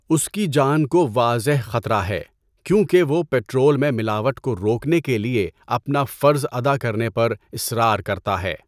اس کی جان کو واضح خطرہ ہے کیونکہ وہ پیٹرول میں ملاوٹ کو روکنے کے لیے اپنا فرض ادا کرنے پر اصرار کرتا ہے۔